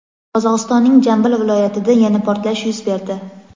Qozog‘istonning Jambil viloyatida yana portlash yuz berdi.